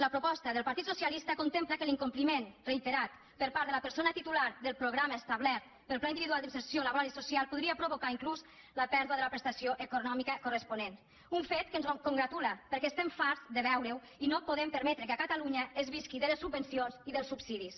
la proposta del partit socialista contempla que l’incompliment reiterat per part de la persona titular del programa establert pel pla individual d’inserció laboral i social podria provocar inclús la pèrdua de la prestació econòmica corresponent un fet que ens congratula perquè estem farts de veure ho i no podem permetre que a catalunya es visqui de les subvencions i dels subsidis